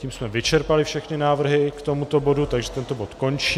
Tím jsme vyčerpali všechny návrhu k tomuto bodu, takže tento bod končím.